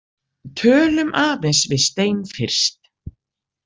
Tölum aðeins við Stein fyrst.